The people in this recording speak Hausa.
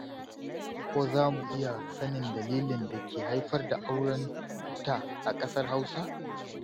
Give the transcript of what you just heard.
Ko za mu iya sanin dalilin da ke haifar da auren buta a ƙasar Hausa?